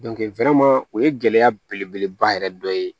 o ye gɛlɛya belebeleba yɛrɛ dɔ ye